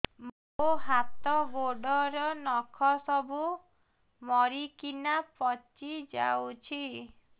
ମୋ ହାତ ଗୋଡର ନଖ ସବୁ ମରିକିନା ପଚି ଯାଉଛି